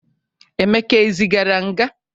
emeka e zigara nga?